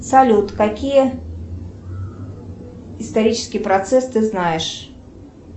салют какие исторические процессы ты знаешь